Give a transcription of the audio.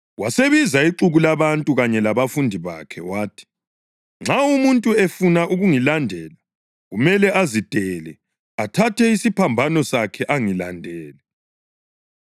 Wasebiza ixuku labantu kanye labafundi bakhe wathi, “Nxa umuntu efuna ukungilandela, kumele azidele athathe isiphambano sakhe angilandele.